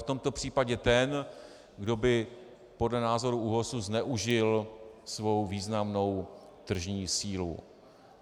V tomto případě ten, kdo by podle názoru ÚOHS zneužil svou významnou tržní sílu.